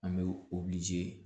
An bɛ